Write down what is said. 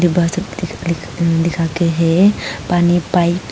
दिखा के है पानी पाइप ।